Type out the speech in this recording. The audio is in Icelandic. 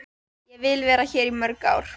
Ég vil vera hér í mörg ár.